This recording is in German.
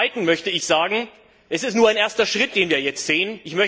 Und zum Zweiten möchte ich sagen Es ist nur ein erster Schritt, den wir jetzt gehen.